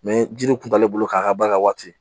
ji nin kun t'ale bolo k'a ka bari a waati